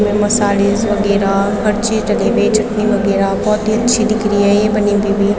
साड़ीज वगैरा हर चीज लगी हुई है चटनी वगैरा बहोत ही अच्छी दिख रही है ये बनी हुई भी।